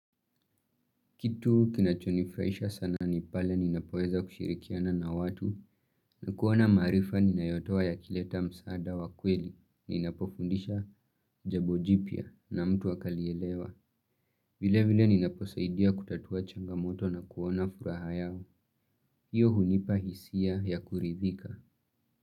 Kitu kinachonifurahisha sana nipale ninapoeza kushirikiana na watu na kuona maarifa ninayotua ya kileta msaada wa kweli. Ninapofundisha jabo jipya na mtu akalielewa. Vile vile ninaposaidia kutatua changamoto na kuona furaha yao. Hiyo hunipahisia ya kuridhika.